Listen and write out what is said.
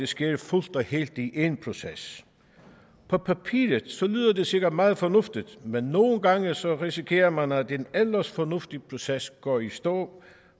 sker fuldt og helt i én proces på papiret lyder det sikkert meget fornuftigt men nogle gange risikerer man at en ellers fornuftig proces går i stå